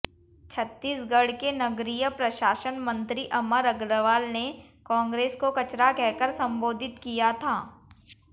छत्तीसगढ़ के नगरीय प्रशासन मंत्री अमर अग्रवाल ने कांग्रेस को कचरा कहकर संबोधित किया था